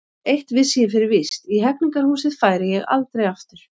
Eitt vissi ég fyrir víst: í Hegningarhúsið færi ég aldrei aftur.